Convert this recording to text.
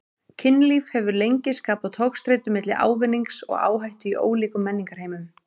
Kynlíf hefur lengi skapað togstreitu milli ávinnings og áhættu í ólíkum menningarheimum.